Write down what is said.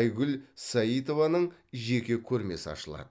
айгүл саитованың жеке көрмесі ашылады